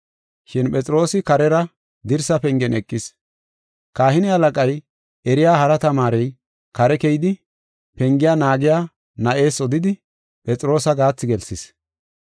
Shin Phexroosi karera dirsaa pengen eqis. Kahine halaqay eriya hara tamaarey kare keyidi, pengiya naagiya na7ees odidi, Phexroosa gaathi gelsis.